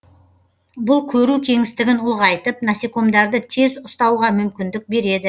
бұл көру кеңістігін ұлғайтып насекомдарды тез ұстауға мүмкіндік береді